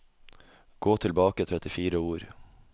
Gå tilbake trettifire ord